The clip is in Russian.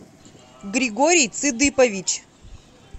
григорий цыдыпович